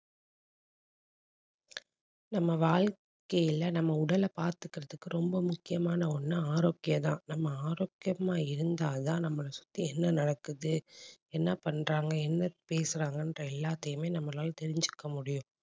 நம்ம வாழ்க்கைல நம்ம உடலை பார்த்துக்கிறதுக்கு ரொம்ப முக்கியமான ஒண்ணு ஆரோக்கியம்தான். நம்ம ஆரோக்கியமா இருந்தா தான் நம்மளை சுத்தி என்ன நடக்குது என்ன பண்றாங்க என்ன பேசுறாங்கன்ற எல்லாத்தையுமே நம்மளால தெரிஞ்சுக்க முடியும்